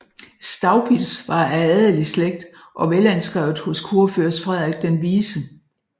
Staupitz var af adelig slægt og velanskrevet hos kurfyrst Frederik den Vise